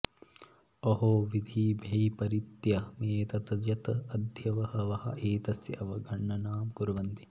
अहो विधिवैपरित्यमेतत् यत् अद्य बहवः एतस्य अवगणनां कुर्वन्ति